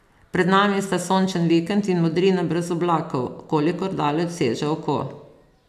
Pred nami sta sončen vikend in modrina brez oblakov, kolikor daleč seže oko.